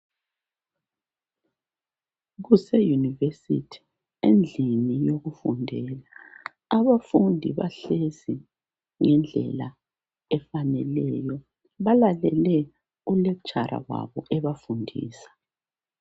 Kuse yunivesithi endlini yokufundela abafundi bahlezi ngendlela efaneleyo balalele u lecturer wabo ebafundisa.